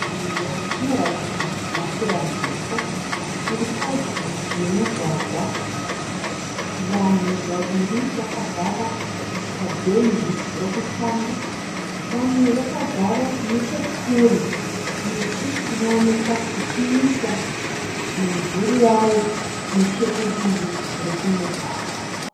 Nzvimbo inoratidza mafuramhepo. Iripadyo nemugwagwa. Vanhu vaviri vakagara pabhenji rokutanga vamwe vakagara nechekure. Miti inooneka ichiisa mimvuri yayo nechekumugwagwa.